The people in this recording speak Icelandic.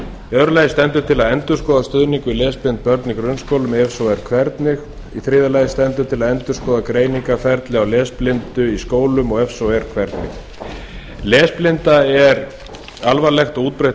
annars stendur til að endurskoða stuðning við lesblind börn í grunnskólum og ef svo er hvernig þriðja stendur til að endurskoða greiningarferli á lesblindu í skólum og ef svo er hvernig lesblinda er alvarlegt og útbreitt